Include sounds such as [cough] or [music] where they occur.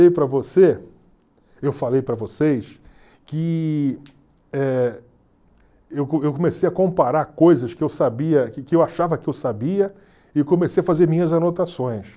[unintelligible] para você, eu falei para vocês que eh eu eu comecei a comparar coisas que eu sabia que que eu achava que eu sabia e comecei a fazer minhas anotações.